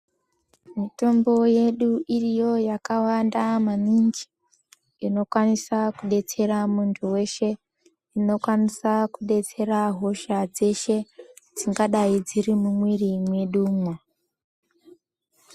Mitombo yedu iriyo yakawanda maningi inokwanisa kudetsera muntu weshe inokwanisa kudetsera hosha dzese dzingadai dziri mumwiri mwedumwo.